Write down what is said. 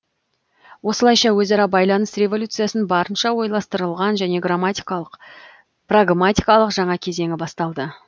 осылайша өзара байланыс революциясын барынша ойластырылған және прагматикалық жаңа кезеңі басталды